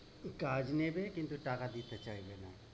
কাজ নেবে কিন্তু টাকা দিতে চাইবে না।